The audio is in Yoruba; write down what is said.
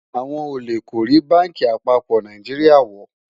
àwọn ólè kò rí bánkì àpapọ Nàìjíríà wò